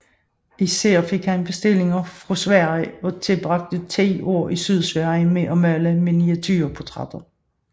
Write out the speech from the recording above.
Især fik han bestillinger fra Sverige og tilbragte 10 år i Sydsverige med at male miniaturportrætter